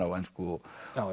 á ensku og